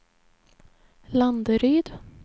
Landeryd